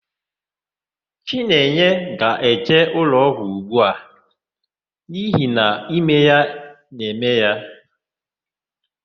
Chinenye ga-eje ụlọọgwụ ugbu a n'ihi na ime na-eme ya.